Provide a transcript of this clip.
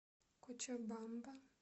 кочабамба